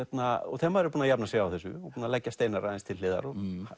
þegar maður er búinn að jafna sig á þessu og leggja Steinar aðeins til hliðar